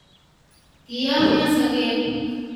Kiyomyo sogek